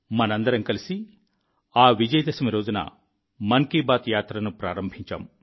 మనం అందరం కలిసి ఆ విజయ దశమి రోజున మన్ కీ బాత్ యాత్రను ప్రారంభించాం